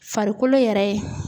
Farikolo yɛrɛ ye